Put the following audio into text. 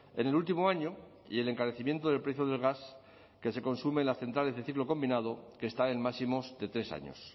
en el último año y el encarecimiento del precio del gas que se consume en las centrales de ciclo combinado que está en máximos de tres años